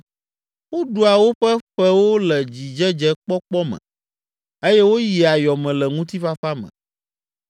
Woɖua woƒe ƒewo le dzidzedzekpɔkpɔ me eye woyia yɔ me le ŋutifafa me